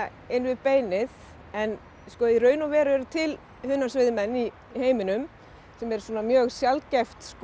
inn við beinið en í raun og veru eru til hunangsveiðmenn í heiminum sem er mjög sjaldgæf